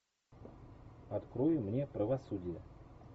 открой мне правосудие